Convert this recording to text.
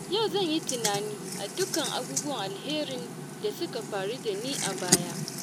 Yau zan yi tunani akan dukkan abubuwan alherin da suka faru da ni a baya.